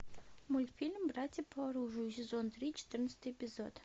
мультфильм братья по оружию сезон три четырнадцатый эпизод